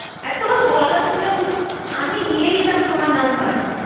আরে তোমার গলা শুনে এই নম্বরটা আমার নতুন আমি নিয়ে নিতাম তোমার নম্বর